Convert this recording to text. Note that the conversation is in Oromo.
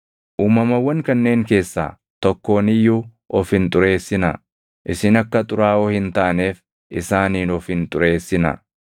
Uumamawwan kanneen keessaa tokkoon iyyuu of hin xureessinaa. Isin akka xuraaʼoo hin taaneef isaaniin of hin xureessinaa.